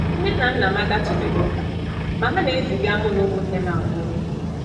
Nne na nna m agatụbeghị ụka, ma ha na-eziga mụ na ụmụnne m abụọ.